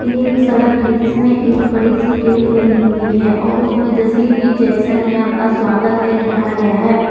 यह एक सड़क है जिसमें एक बड़ी सी गेट बनी हुई है और उसमें जे सी डी जक्शन में आपका स्वागत है लिखाया गया है।